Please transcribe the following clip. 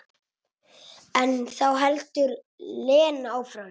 En þá heldur Lena áfram.